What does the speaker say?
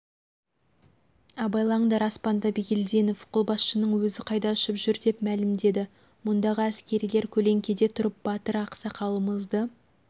абайлаңдар аспанда бигелдинов қолбасшының өзі қайда ұшып жүр деп мәлімдеді мұндағы әскерилер көлеңкеде тұрып батыр ақсақалымызды